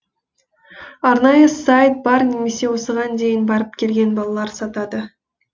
арнайы сайт бар немесе осыған дейін барып келген балалар сатады